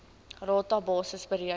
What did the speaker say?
rata basis bereken